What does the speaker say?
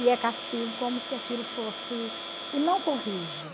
E é castigo, como se aquilo fosse... E não corrige.